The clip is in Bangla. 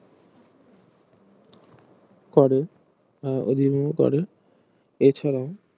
করে এছাড়াও